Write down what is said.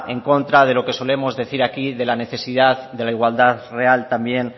en contra de lo que solemos decir aquí de la necesidad de la igualdad real también